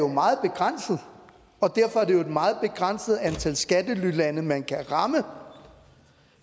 meget begrænset og derfor er det et meget begrænset antal skattelylande man kan ramme